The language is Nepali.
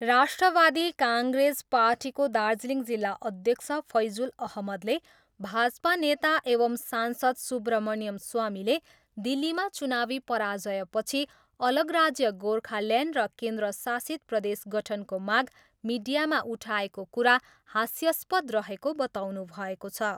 राष्ट्रियवादी काङ्ग्रेस पार्टीको दार्जिलिङ जिल्ला अध्यक्ष फैजुल अहमदले भाजपा नेता एवम् सांसद सुब्रमन्यम स्वामीले दिल्लीमा चुनावी पराजयपछि अलग राज्य गोर्खाल्यान्ड र केन्द्रशासित प्रदेश गठनको माग मिडियामा उठाएको कुरा हास्यस्पद रहेको बताउनुभएको छ।